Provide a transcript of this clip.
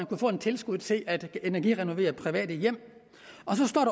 kunne få tilskud til at energirenovere private hjem